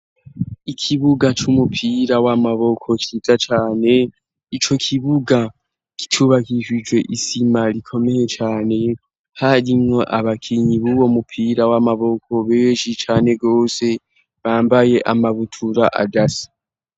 Ikibuga c'umupira w'amaboko cyiza cyane ico kibuga kicubakibije isima rikomeye cane harimwo abakinyi b'ubo mupira w'amaboko beji cyane gose bambaye amabutura adasa.